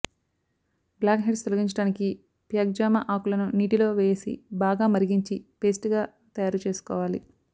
black heads తొలగించటానికి ప్యాక్జామ ఆకులను నీటిలో వేసి బాగా మరిగించి పేస్ట్ గా తయారుచేసుకోవాలి